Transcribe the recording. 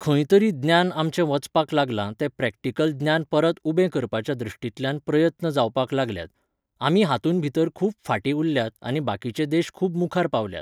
खंय तरी ज्ञान आमचे वचपाक लागलां तें प्रॅक्टिकल ज्ञान परत उबें करपाच्या दृश्टींतल्यान प्रयत्न जावपाक लागल्यात. आमी हातूंत भितर खूब फाटीं उरल्यात आनी बाकिचे देश खूब मुखार पावल्यात